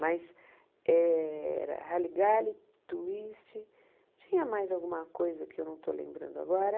Mas era Rally Galley, Twist, tinha mais alguma coisa que eu não estou lembrando agora...